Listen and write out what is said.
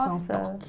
Nossa!